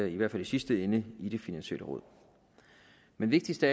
i hvert fald i sidste ende i det finansielle råd men vigtigst af